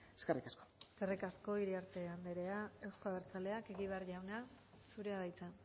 eskerrik asko eskerrik asko iriarte andrea euzko abertzaleak egibar jauna zurea da hitza